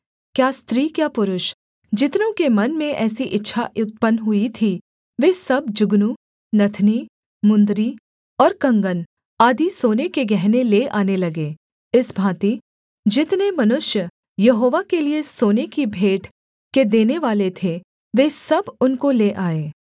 क्या स्त्री क्या पुरुष जितनों के मन में ऐसी इच्छा उत्पन्न हुई थी वे सब जुगनू नथनी मुंदरी और कंगन आदि सोने के गहने ले आने लगे इस भाँति जितने मनुष्य यहोवा के लिये सोने की भेंट के देनेवाले थे वे सब उनको ले आए